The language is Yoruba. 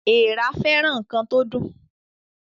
Èèrà fẹràn ǹkan tó dùn